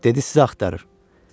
Dedi sizi axtarır.